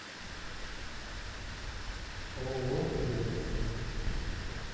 ооо велес